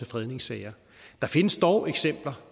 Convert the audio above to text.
fredningssager der findes dog eksempler